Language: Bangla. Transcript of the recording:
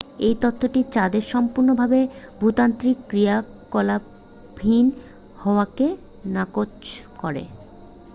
এই তত্ত্বটি চাঁদের সম্পূর্ণ ভাবে ভূতাত্ত্বিক ক্রিয়াকলাপহীন হওয়াকে নাকচ করে